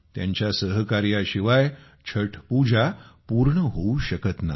त्यांच्या सहकार्याशिवाय छठ पूजा पूर्ण होऊ शकत नाही